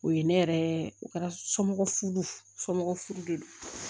O ye ne yɛrɛ o kɛra somɔgɔ somɔgɔw de ye